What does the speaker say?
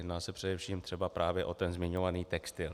Jedná se především třeba právě o ten zmiňovaný textil.